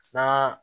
N'a